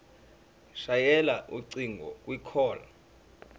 shayela ucingo kwicall